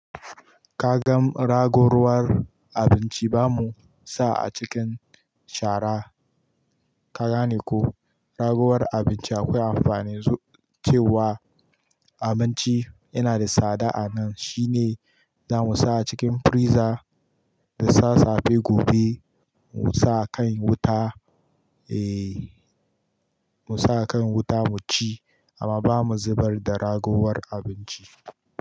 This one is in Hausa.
Ka gan ragowar abinci ba mu sa a cikin shara. Ka gane ko? Ragowar abinci akwai amfani cewa abinci yana da tsada a nan shine za mu sa a cikin freezer da sassafe gobe mu sa kan wuta, eh, mu sa kan wuta mu ci amma ba mu zubar da ragowar abinci.